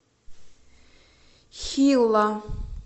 хилла